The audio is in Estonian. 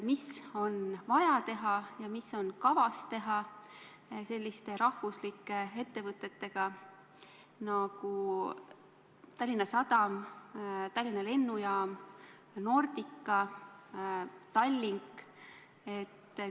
Mis on vaja teha ja mis on kavas teha selliste ettevõtetega nagu Tallinna Sadam, Tallinna Lennujaam, Nordica, Tallink?